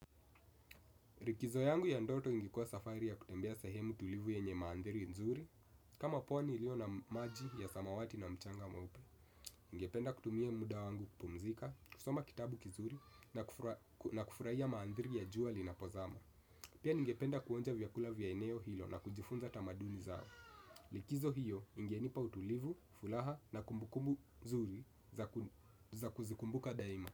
Likizo yangu ya ndoto ingekuwa safari ya kutembea sahemu tulivu yenye maandhiri nzuri. Kama pondi iliyo na maji ya samawati na mchanga mweupe. Ningependa kutumia muda wangu kupumzika, kusoma kitabu kizuri na kufurahia maandhiri ya jua linapozama. Pia ningependa kuonja vyakula vya eneo hilo na kujifunza tamaduni zao. Likizo hiyo ingenipa utulivu, furaha na kumbukumbu nzuri za kuzikumbuka daima.